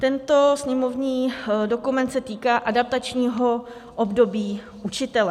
Tento sněmovní dokument se týká adaptačního období učitele.